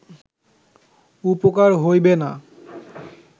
উপকার হইবে না